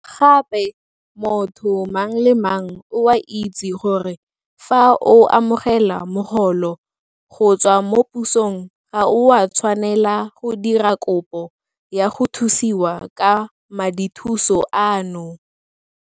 Gape motho mang le mang o a itse gore fa o amogela mogolo go tswa mo pusong ga o a tshwanela go dira kopo ya go thusiwa ka madithuso ano.